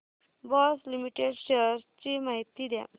Bosch limited shares ची माहिती द्या